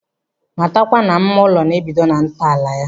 Matakwa na mma ụlọ na-ebido na ntọala ya.